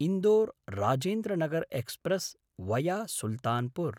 Indore Rajendranagar express via Sultanpur